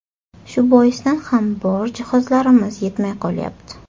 Shu boisdan ham bor jihozlarimiz yetmay qolyapti.